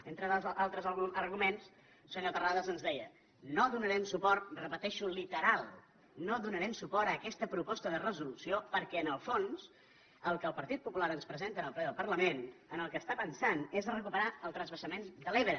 entre altres arguments senyor terrades ens deia no donarem suport ho repeteixo literal no donarem suport a aquesta proposta de resolució perquè en el fons el que el partit popular ens presenta en el ple del parlament en el que està pensant és a recuperar el transvasament de l’ebre